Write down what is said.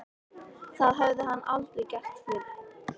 Það hafði hann aldrei gert fyrr.